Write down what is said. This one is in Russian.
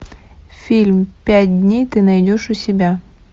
фильм пять дней ты найдешь у себя